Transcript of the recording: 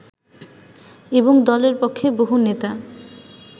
এবং দলের পক্ষে বহু নেতা